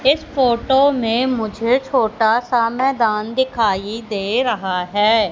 इस फोटो में मुझे छोटा सा मैदान दिखाइ दे रहा है।